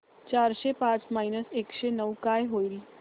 चारशे पाच मायनस एकशे नऊ काय होईल